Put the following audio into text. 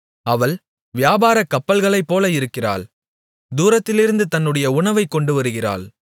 அவள் வியாபாரக் கப்பல்களைப்போல இருக்கிறாள் தூரத்திலிருந்து தன்னுடைய உணவைக் கொண்டுவருகிறாள்